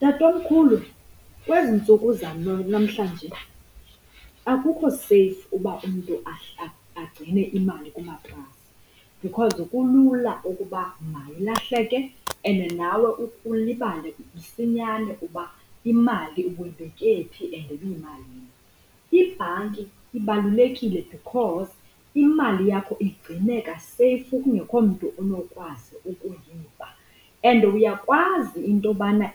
Tatomkhulu, kwezi ntsuku zanamhlanje akukho seyfu uba umntu agcine imali kumatrasi because kulula ukuba mayilahleke and nawe ukhe ulibale msinyane uba imali ubuyibeke phi and ibiyimalini. Ibhanki ibalulekile because imali yakho igcineka seyfu kungekho mntu onokwazi ukuyiba and uyakwazi into yobana